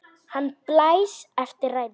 Hann blæs eftir ræðuna.